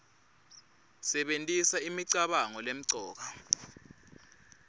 sebentisa imicabango lemcoka